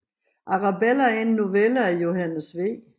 Arabella er en novelle af Johannes V